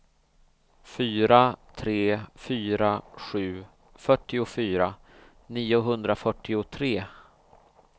fyra tre fyra sju fyrtiofyra niohundrafyrtiotre